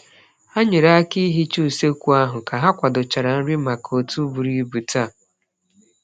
Ha nyere aka n'ihicha usekwu ahụ ka ha kwadochara nri maka otu buru ibu taa.